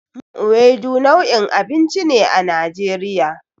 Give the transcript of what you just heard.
Miyar Ewedu nau'in abinci ne a Najeriya.